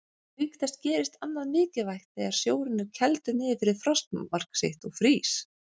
Auk þess gerist annað mikilvægt þegar sjórinn er kældur niður fyrir frostmark sitt og frýs.